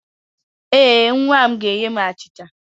Ee, nwa ahụ ga-enye m achịcha